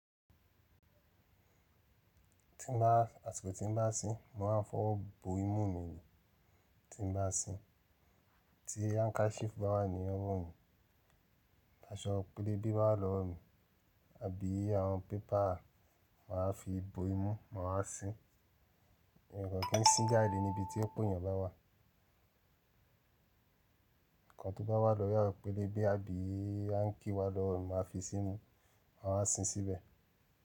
Tí n bá, àtìkù tí n bá sín mo máa ń fọwọ́ bo imú mi ni tí n bá sín, tí handkerchief bá wà ní ọwọ́ mi, aṣọ pélébé bá wà lọ́rùn, àbí àwọn paper ma fi bo imú ma wá sín. Ǹkan kí n sín jáde ní ibi tí ọ̀pọ̀ èèyàn bá wà. Ǹkan tó bá wà lórí àwọn pélébé àbí áǹkí wà lọ́rùn máa fi sínú, máa sín síbẹ̀